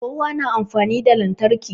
Kowa na amfani da lantarki